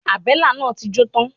Àbélà náà ti jó tán.